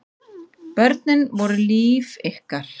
Börnin voru líf ykkar.